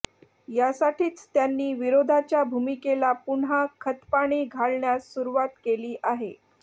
यासाठीच त्यांनी विरोधाच्या भूमिकेला पुन्हा खतपाणी घालण्यास सुरुवात केली आहे